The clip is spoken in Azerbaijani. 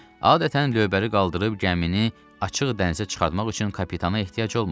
Adətən lövbəri qaldırıb gəmini açıq dənizə çıxartmaq üçün kapitana ehtiyacı olmur.